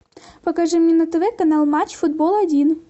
покажи мне на тв канал матч футбол один